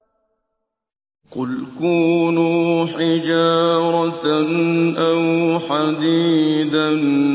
۞ قُلْ كُونُوا حِجَارَةً أَوْ حَدِيدًا